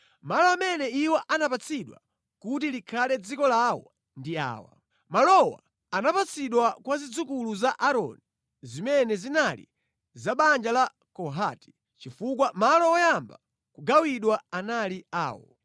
Malo amene iwo anapatsidwa kuti likhale dziko lawo ndi awa: (Malowa anapatsidwa kwa zidzukulu za Aaroni zimene zinali za banja la Kohati, chifukwa malo oyamba kugawidwa anali awo).